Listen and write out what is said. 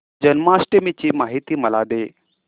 जन्माष्टमी ची माहिती मला दे